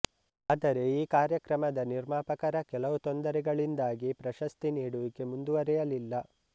ಆದರೆ ಈ ಕಾರ್ಯಕ್ರಮದ ನಿರ್ಮಾಪಕರ ಕೆಲವು ತೊಂದರೆಗಳಿಂದಾಗಿ ಪ್ರಶಸ್ತಿ ನೀಡುವಿಕೆ ಮುಂದುವರೆಯಲಿಲ್ಲ